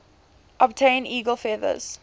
obtain eagle feathers